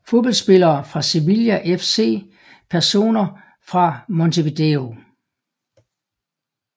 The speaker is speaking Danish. Fodboldspillere fra Sevilla FC Personer fra Montevideo